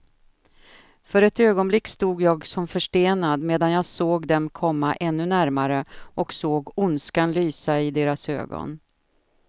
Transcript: För ett ögonblick stod jag som förstenad, medan jag såg dem komma ännu närmare och såg ondskan lysa i deras ögon.